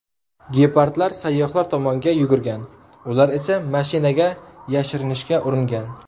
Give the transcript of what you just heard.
Gepardlar sayyohlar tomonga yugurgan, ular esa mashinaga yashirinishga uringan.